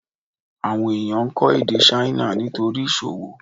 Àwọn ènìyàn ń kọ́ èdè Ṣáínà nítorí ìsòwò